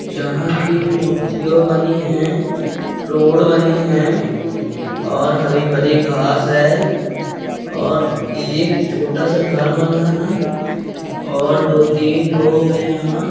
जहाँ पे मूर्तियों बनी है रोड बनी है और हरी-भरी घास है और ऐक छोटा सा घर बना है और दो-तीन लोग हैं यहाँ।